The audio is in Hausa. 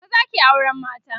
maza ke auran mata